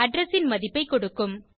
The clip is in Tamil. அட்ரெஸ் ன் மதிப்பைக் கொடுக்கும்